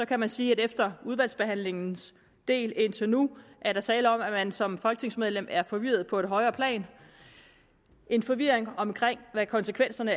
kan man sige at efter udvalgsbehandlingens del indtil nu er der tale om at man som folketingsmedlem er forvirret på et højere plan en forvirring omkring hvad konsekvenserne